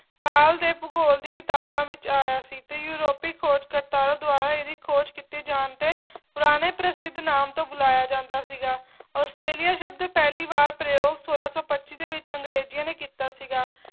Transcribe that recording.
ਕਾਲ ਦੇ ਭੂਗੋਲ ਦੀ ਕਿਤਾਬਾਂ ਵਿੱਚ ਆਇਆ ਸੀ ਤੇ ਯੂਰੋਪੀ ਖੋਜਕਰਤਾਰਾ ਦੁਆਰਾ ਇਹਦੀ ਖੋਜ ਕੀਤੇ ਜਾਣ ਤੇ ਪੁਰਾਣੇ ਪ੍ਰਸਿੱਧ ਨਾਮ ਤੋਂ ਬੁਲਾਇਆ ਜਾਂਦਾ ਸੀਗਾ ਆਸਟ੍ਰੇਲੀਆ ਸ਼ਬਦ ਪਹਿਲੀ ਵਾਰ ਪ੍ਰਯੋਗ ਸੌਲਾ ਸੌ ਪੱਚੀ ਦੇ ਵਿੱਚ ਅੰਗਰੇਜੀਆਂ ਨੇ ਕੀਤਾ ਸੀਗਾ